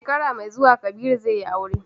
Shekara mai zuwa, Kabiru zai yi aure.